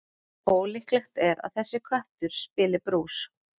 Ólíklegt er að þessi köttur spili brús.